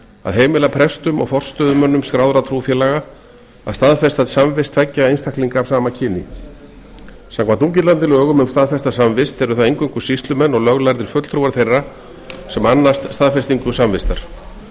að heimila prestum og forstöðumönnum skráðra trúfélaga að staðfesta samvist tveggja einstaklinga af sama kyni samkvæmt núgildandi lögum um staðfesta samvist eru það eingöngu sýslumenn og löglærðir fulltrúar þeirra sem annast staðfestingu samvistar með